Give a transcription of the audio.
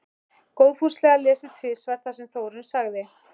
Góðfúslega lesið tvisvar það sem Þórunn sagði.